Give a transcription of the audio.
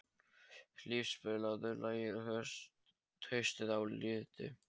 Hlíf, spilaðu lagið „Haustið á liti“.